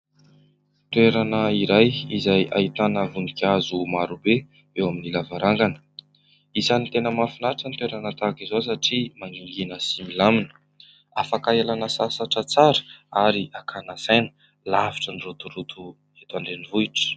Toerana iray izay ahitana voninkazo maro be eo amin'ny lavarangana. Isan'ny tena mahafinaritra ny toerana tahaka izao satria mangingina sy milamina afaka ialana sasatra tsara ary akàna saina, lavitry ny rotoroto eto andrenivohitra.